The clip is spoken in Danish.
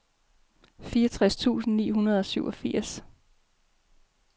fireogtres tusind ni hundrede og syvogfirs